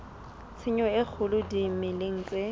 tshenyo e kgolo dimeleng tse